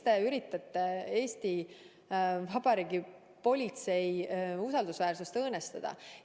Miks te üritate Eesti Vabariigi politsei usaldusväärsust õõnestada?